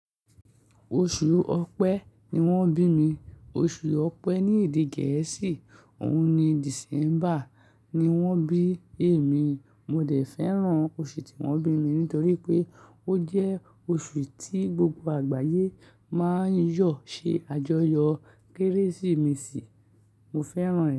Oṣù Ọ̀pẹ ni wọ́n bí mi. Oṣù Ọ̀pẹ ní èdè gẹ̀ẹ́sì òun ni December ni wọ́n bí èmi. Mo dẹ̀ fẹ́ràn oṣù tí wọ́n bí mi nítorí pé ó jẹ́ oṣù tí gbogbo àgbáyé máa ń yọ̀ ṣe àjọyọ̀ Kérésìmesì. Mo fẹ́ràn rẹ̀